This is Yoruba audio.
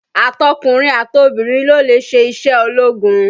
Àtọkùnrin àtọbìrin ló lè ṣe iṣẹ́ ológun